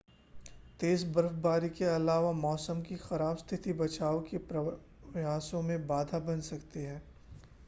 तेज़ बर्फबारी के अलावा मौसम की ख़राब स्थिति बचाव के प्रयासों में बाधा बन रही है